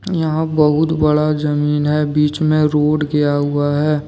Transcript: यहां बहुत बड़ा जमीन है बीच में रोड गया हुआ है।